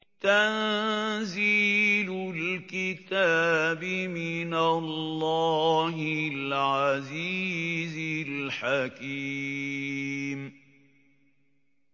تَنزِيلُ الْكِتَابِ مِنَ اللَّهِ الْعَزِيزِ الْحَكِيمِ